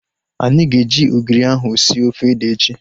Anyị ga-eji ogiri ahu sie ofe ede echi